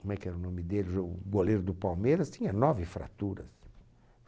Como é que era o nome dele? o goleiro do Palmeiras tinha nove fraturas.